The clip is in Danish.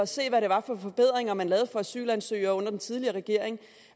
se hvad det var for forbedringer man lavede for asylansøgere under den tidligere regering